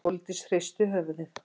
Sóldís hristi höfuðið.